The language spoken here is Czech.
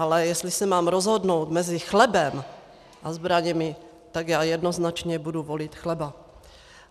Ale jestli se mám rozhodnout mezi chlebem a zbraněmi, tak já jednoznačně budu volit chleba.